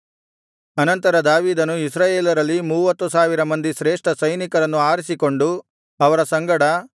ಅನಂತರ ದಾವೀದನು ಇಸ್ರಾಯೇಲರಲ್ಲಿ ಮೂವತ್ತು ಸಾವಿರ ಮಂದಿ ಶ್ರೇಷ್ಠ ಸೈನಿಕರನ್ನು ಆರಿಸಿಕೊಂಡು ಅವರ ಸಂಗಡ